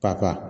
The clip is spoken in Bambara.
Ka